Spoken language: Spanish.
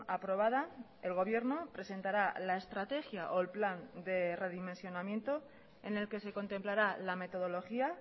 aprobada el gobierno presentará la estrategia o el plan de redimensionamiento en el que se contemplará la metodología